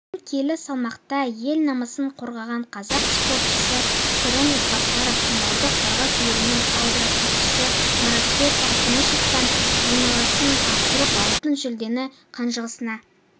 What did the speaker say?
кейін келі салмақта ел намысын қорғаған қазақ спортшысы сырым ізбасаров финалда қырғыз елінің аударыспақшысы маратбек алтымышевтан айласын асырып алтын жүлдені қанжығасына